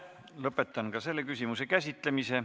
Lõpetan ka selle küsimuse käsitlemise.